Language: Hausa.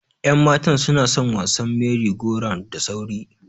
Yan matan sunason wasan mery go round da sauri.